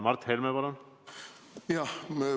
Mart Helme, palun!